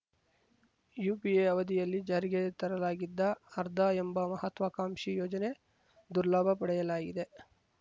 UPA ಅವಧಿಯಲ್ಲಿ ಜಾರಿಗೆ ತರಲಾಗಿದ್ದ ಆರ್ಧಾ ಎಂಬ ಮಹತ್ವಕಾಂಕ್ಷಿ ಯೋಜನೆ ದುರ್ಲಾಭ ಪಡೆಯಲಾಗಿದೆ